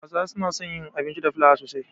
Hausawa suna son yin abinci da fliawa sosai.